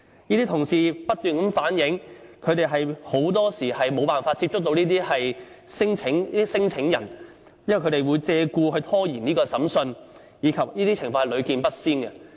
這些同事不斷反映，他們很多時候沒有辦法接觸到這類聲請人，因為他們會借故拖延審訊，而這些情況是屢見不鮮。